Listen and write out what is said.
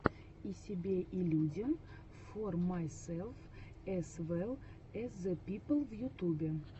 и себе и людям фор майселф эз вэлл эз зэ пипл в ютубе